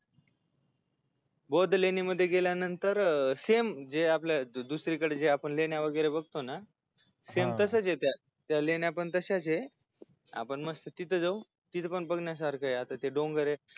बौद्ध लेण्यामध्ये गेल्यानंतर same जे आपण दुसरीकडे लेण्या वैगरे बघतो ना सेम तसेच त्या त्या लेण्या पण तस्याच आपण मस्त तिथ जाऊ तिथ पण बघण्यासारखय आता ते डोंगरय